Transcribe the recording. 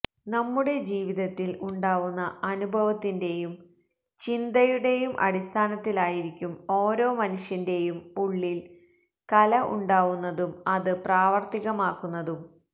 നമ്മുടെ ജീവിതത്തിൽ ഉണ്ടാവുന്ന അനുഭവത്തിന്റെയും ചിന്തയുടേയും അടിസ്ഥാനത്തിലായിരിക്കും ഓരോ മനുഷ്യന്റെയും ഉള്ളിൽ കല ഉണ്ടാവുന്നതും അത് പ്രാവർത്തികമാക്കുന്നതും